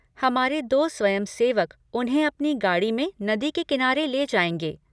हमारे दो स्वयंसेवक उन्हें अपनी गाड़ी में नदी के किनारे ले जाएंगे।